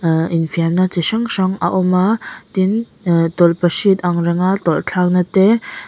ah in fiamna chi hrang hrang a awma tin aa tawlh pahrit ang renga tawlh thlak na te--